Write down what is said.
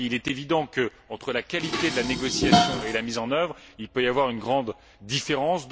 Parce qu'il est évident que, entre la qualité de la négociation et la mise en œuvre, il peut y avoir une grande différence.